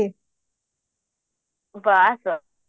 ବାସ ବାସ